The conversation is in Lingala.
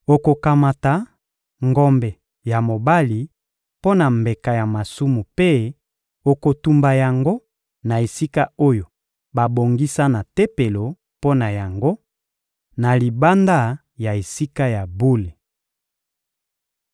Okokamata ngombe ya mobali mpo na mbeka ya masumu mpe okotumba yango na esika oyo babongisa na Tempelo mpo na yango, na libanda ya Esika ya bule.